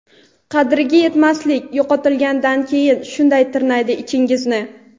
Qadriga yetmaslik - yo‘qotilgandan keyin shunday tirnaydi ichingizni.